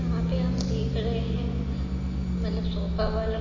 यहाँ पे हम देख रहे हैं मतलब सोफा वाला--